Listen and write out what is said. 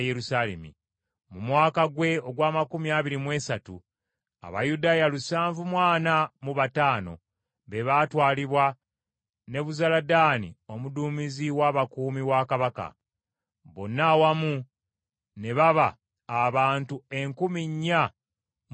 mu mwaka gwe ogw’amakumi abiri mu esatu, Abayudaaya lusanvu mu ana mu bataano be baatwalibwa Nebuzaladaani omuduumizi w’abakuumi wa kabaka. Bonna awamu ne baba abantu enkumi nnya mu lukaaga.